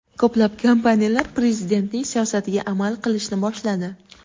Ko‘plab kompaniyalar Prezidentning siyosatiga amal qilishni boshladi.